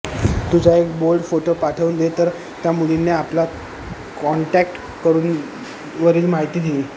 तुझा एक bold photo पाठवून दे तर त्या मुलीने आम्हाला कॉन्टॅक्ट करून वरील माहिती दिली